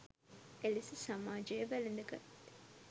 එලෙස සමාජය වැළඳගත්